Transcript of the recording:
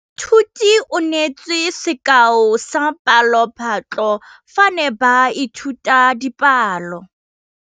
Moithuti o neetse sekaô sa palophatlo fa ba ne ba ithuta dipalo.